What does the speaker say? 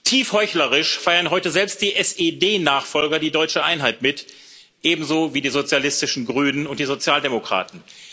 Tief heuchlerisch feiern heute selbst die SED Nachfolger die deutsche Einheit mit, ebenso wie die sozialistischen Grünen und die Sozialdemokraten.